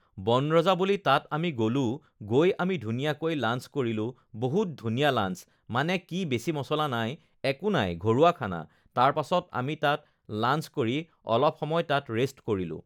বনৰজা বুলি তাত আমি গ'লোঁ গৈ আমি ধুনীয়াকে লাঞ্চ কৰিলোঁ বহুত ধুনীয়া লাঞ্চ মানে কি বেছি মছলা নাই একো নাই ঘৰুৱা খানা তাৰ পাছত আমি তাত লাঞ্চ কৰি অলপ সময় তাত ৰেষ্ট কৰিলোঁ